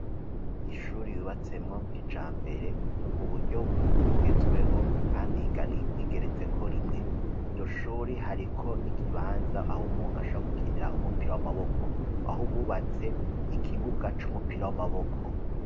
N'ishuri yibatsemwo ku ija mbere mu buryo bugezweho kandi igeretse ko rimwe. Iryo shuri hariko n'ikibanza aho umuntu asha gukinira umupira w'amaboko aho bubatse ikibuga c'umupira w'amaboko.